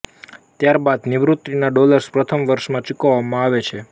ત્યારબાદ નિવૃત્તિના ડૉલર્સ પ્રથમ વર્ષમાં ચૂકવવામાં આવે છે